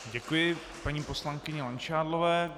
Děkuji paní poslankyni Langšádlové.